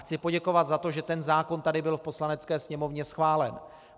Chci poděkovat za to, že ten zákon byl tady v Poslanecké sněmovně schválen.